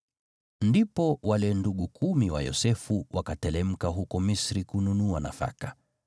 Ndipo wale ndugu kumi wa Yosefu, wakateremka huko Misri kununua nafaka.